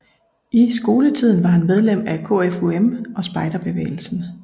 I skoletiden var han medlem af KFUM og spejderbevægelsen